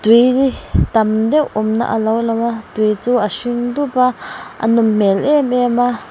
tam deuh awmna a lo lang a tui chu a hring dup a a nawm hmel em em a.